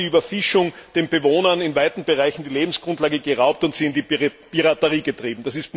Dort hat die Überfischung den Bewohnern in weiten Bereichen die Lebensgrundlage geraubt und sie in Piraterie getrieben.